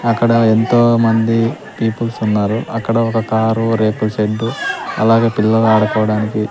అక్కడ ఎంతోమంది పీపుల్స్ ఉన్నారు అక్కడ ఒక కారు రేకుల షెడ్డు అలాగే పిల్లలు ఆడుకోవడానికి --